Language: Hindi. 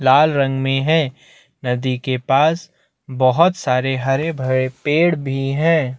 लाल रंग में हैं नदी के पास बहुत सारे हरे - भरे पेड़ भी है।